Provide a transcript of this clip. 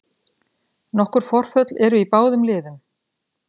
Nokkur forföll eru í báðum liðum